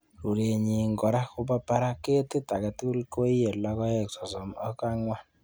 Rurenyin kora kobo barak. Ketit agetugul koiye kiloisiek sosom ok angwan.